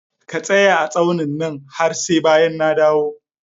Ka tsaya a tsaunin nan har sai bayan na dawo!